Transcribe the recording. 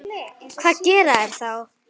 Hvað gera þeir þá?